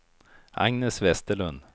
Agnes Vesterlund